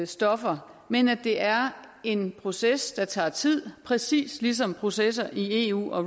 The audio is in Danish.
stoffer men at det er en proces der tager tid præcis ligesom processer i eu og